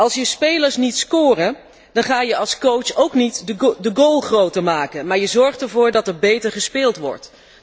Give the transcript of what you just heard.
Als je spelers niet scoren, ga je als coach ook niet de goal groter maken, maar je zorgt ervoor dat er beter gespeeld wordt.